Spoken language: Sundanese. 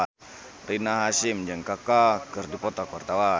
Rina Hasyim jeung Kaka keur dipoto ku wartawan